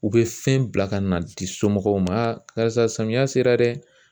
U bɛ fɛn bila ka na di somɔgɔw ma karisa samiya sera dɛ!